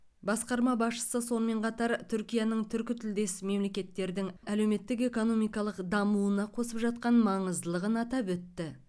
басқарма басшысы сонымен қатар түркияның түркітілдес мемлекеттердің әлеуметтік экономикалық дамуына қосып жатқан маңыздылығын атап өтті